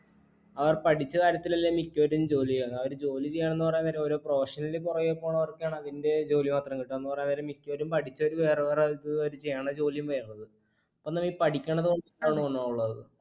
അവർ പഠിച്ച കാര്യത്തിൽ അല്ല മിക്കവരും ജോലി ചെയ്യണത്. അവര് ജോലി ചെയണതെന്നു പറയാൻ നേരം ഓരോ profession ന്റെ പുറകെ പോണവർക്കൊക്കെയാണ് അതിന്റെ ജോലി മാത്രം കിട്ടുക എന്ന് പറയാൻ നേരം മിക്കവരും പഠിച്ചതു വേറെ വേറെ അവർ ചെയ്യണ ജോലിയും വേറേത്